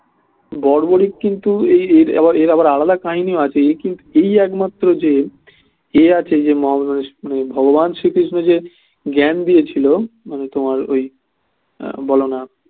বড়বড়িক কিন্তু এই এর আবার আলাদা কাহিনীও আছে এ কিন্তু এই একমাত্র যে এ আছে যে মহাভারতে ভগবান শ্রীকৃষ্ণ যে জ্ঞান দিয়েছিলো তোমার ওই